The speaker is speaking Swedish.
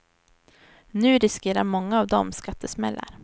Nu riskerar många av dem skattesmällar.